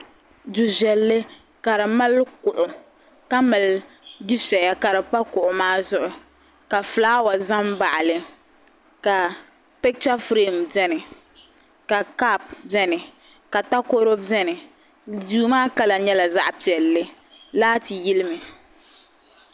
Du viɛlli ka di mali kuɣu kamali dufiɛya ka di pa kuɣu maa zuɣu ka fulaawa za n baɣili ka picha firim beni ka kap beni takoro beni duu maa kala nyɛla zaɣpiɛlli laati yilimi.